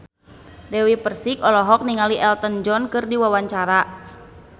Dewi Persik olohok ningali Elton John keur diwawancara